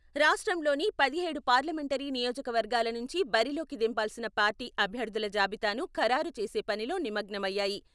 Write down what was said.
రాష్ట్రంలోని పదిహేడు పార్లమెంటరీ నియోజకవర్గాల నుంచి బరిలోకి దింపాల్సిన పార్టీ అభ్యర్థుల జాబితాను ఖరారు చేసే పనిలో నిమగ్నమయ్యాయి.